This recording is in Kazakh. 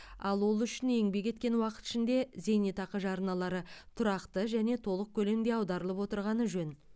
ал ол үшін еңбек еткен уақыт ішінде зейнетақы жарналары тұрақты және толық көлемде аударылып отырғаны жөн